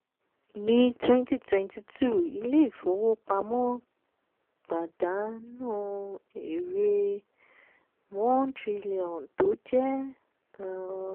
ní twenty twenty two ilé ifowópamọ́ padaanu èrè one trillion tó jẹ́